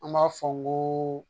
An b'a fɔ n ko